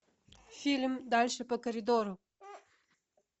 фильм дальше по коридору